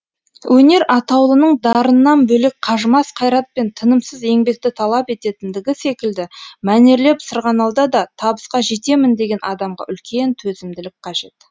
өнер атаулының дарыннан бөлек қажымас қайрат пен тынымсыз еңбекті талап ететіндігі секілді мәнерлеп сырғанауда да табысқа жетемін деген адамға үлкен төзімділік қажет